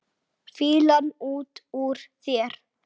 Fýlan út úr þér!